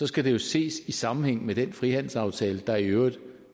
skal det jo ses i sammenhæng med den frihandelsaftale der i øvrigt